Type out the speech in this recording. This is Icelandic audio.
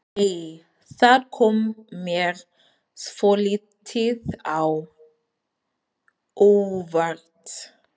Nei! Það kom mér svolítið á óvart!